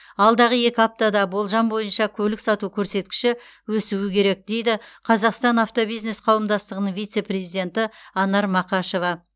алдағы екі аптада болжам бойынша көлік сату көрсеткіші өсуі керек дейді қазақстан автобизнес қауымдастығының вице президенті анар мақашева